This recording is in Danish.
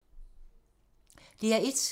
DR1